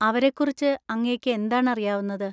അവരെക്കുറിച്ച് അങ്ങേയ്ക്ക് എന്താണറിയാവുന്നത്?